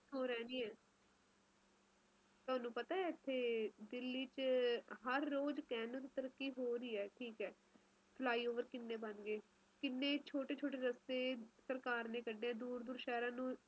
ਤੁਹਾਨੂੰ ਪਤਾ ਇਥੇ ਦਿੱਲੀ ਚ ਕਹਿਣ ਨੂੰ ਹਰ ਰੋਜ਼ ਤਰੱਕੀ ਹੋ ਰਹੀ ਹੈ ਠੀਕ ਐ flyover ਕਿੰਨੇ ਬਣ ਗਏ ਕਿੰਨੇ ਛੋਟੇ ਛੋਟੇ ਰਸਤੇ ਸਰਜਕਰ ਨੇ ਕੱਢੇ ਹੈ ਸ਼ਹਿਰ ਨੂੰ